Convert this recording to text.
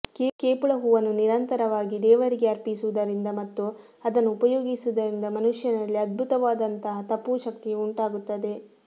ಕೇಪುಳ ಹೂವನ್ನು ನಿರಂತರವಾಗಿ ದೇವರಿಗೆ ಅರ್ಪಿಸುವುದರಿಂದ ಮತ್ತು ಅದನ್ನು ಉಪಯೋಗಿಸುವುದರಿಂದ ಮನುಷ್ಯನಲ್ಲಿ ಅದ್ಭುತವಾದಂತಹ ತಪೂಶಕ್ತಿಯು ಉಂಟಾಗುತ್ತದೆ